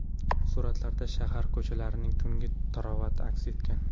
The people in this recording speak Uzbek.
Suratlarda shahar ko‘chalarining tungi tarovati aks etgan.